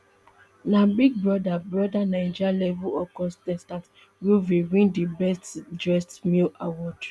na big brother brother naija level up contestant groovy win di best dressed male award